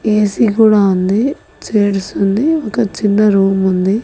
ఏసి కూడా ఉంది చైర్స్ ఉంది ఒక చిన్న రూముంది .